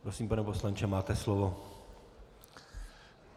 Prosím, pane poslanče, máte slovo.